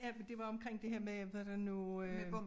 Ja men det var omkring det her med hvordan nu øh